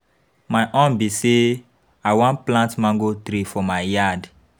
My own be say I wan plant mango tree for my yard.